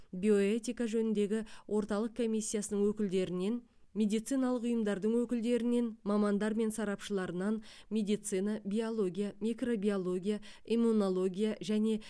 биоэтика жөніндегі орталық комиссиясының өкілдерінен медициналық ұйымдардың өкілдерінен мамандар мен сарапшыларынан медицина биология микробиология иммунология және